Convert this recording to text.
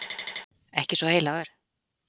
Ekki svo heilagur.